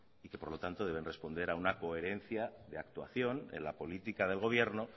y que por lo tanto deben responder a una coherencia de actuación en la política del gobierno